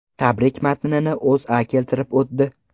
Tabrik matnini O‘zA keltirib o‘tdi .